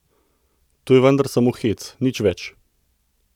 To je vendar samo hec, nič več!